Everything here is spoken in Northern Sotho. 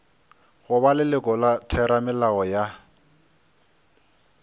goba leloko la theramelao ya